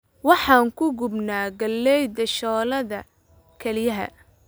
Waxaan ku gubnaa galleyda shooladda kelyaha